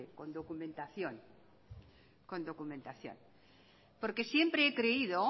con documentación siempre he creído